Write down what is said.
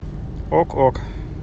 ок ок